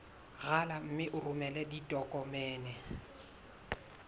rala mme o romele ditokomene